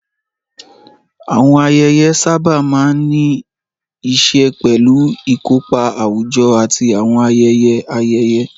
Àwọn ayẹyẹ sábà máa ń ní í ṣe pẹ̀lú ìkópa àwùjọ àti àwọn ayẹyẹ ayẹyẹ.